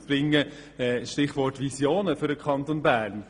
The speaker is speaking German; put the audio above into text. Ein Stichwort: Visionen für den Kanton Bern.